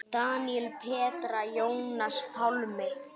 Daníel, Petra, Jónas Pálmi.